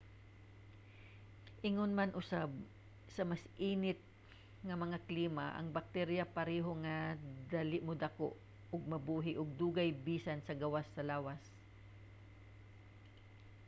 ingon man usab sa mas init nga mga klima ang bakterya pareho nga dali modako ug mabuhi og dugay bisan sa gawas sa lawas